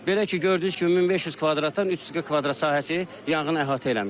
Belə ki, gördüyünüz kimi 1500 kvadratdan 300 kvadrat sahəsi yanğın əhatə eləmişdir.